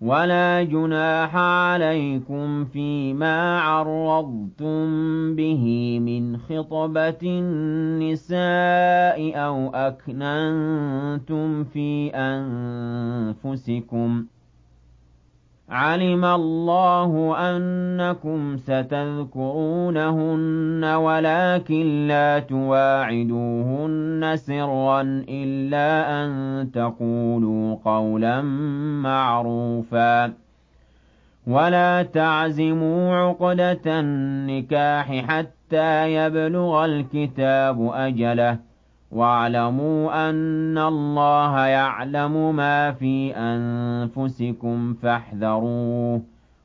وَلَا جُنَاحَ عَلَيْكُمْ فِيمَا عَرَّضْتُم بِهِ مِنْ خِطْبَةِ النِّسَاءِ أَوْ أَكْنَنتُمْ فِي أَنفُسِكُمْ ۚ عَلِمَ اللَّهُ أَنَّكُمْ سَتَذْكُرُونَهُنَّ وَلَٰكِن لَّا تُوَاعِدُوهُنَّ سِرًّا إِلَّا أَن تَقُولُوا قَوْلًا مَّعْرُوفًا ۚ وَلَا تَعْزِمُوا عُقْدَةَ النِّكَاحِ حَتَّىٰ يَبْلُغَ الْكِتَابُ أَجَلَهُ ۚ وَاعْلَمُوا أَنَّ اللَّهَ يَعْلَمُ مَا فِي أَنفُسِكُمْ فَاحْذَرُوهُ ۚ